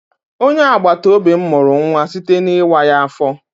Onye agbataobi m mụrụ nwa site n'ịwa ya afọ.